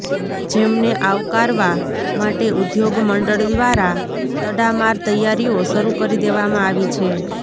જેમને આવકારવા માટે ઉદ્યોગ મંડળ દ્વારા તડામાર તૈયારીઓ શરૃ કરી દેવામાં આવી છે